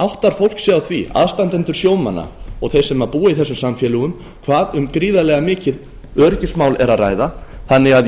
áttar fólk sig á því aðstandendur sjómanna og þeir sem búa í þessum samfélögum hvað um gríðarlega mikið öryggismál er að ræða þannig að